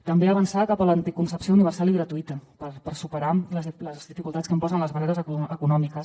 també avançar cap a la anticoncepció universal i gratuïta per superar les dificultats que ens posen les barreres econòmiques